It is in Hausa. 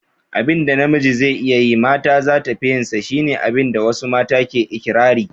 Abin da namiji zai iya yi mata zata fi yin sa, shi ne abin da wasu mata ke ikirari.